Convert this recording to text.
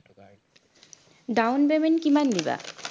down payment কিমান দিবা